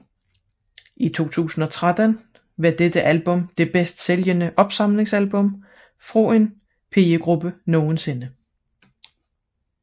I 2013 var dette album det bedst sælgende opsamlingsalbum fra en pigegruppe nogensinde